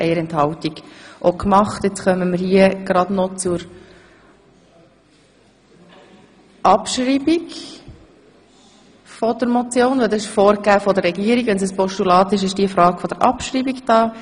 Wir kommen nun zur Abschreibung, denn es wurde von der Regierung vorgegeben, dass man im Falle einer Annahme als Postulat über die Abschreibung abstimmen muss.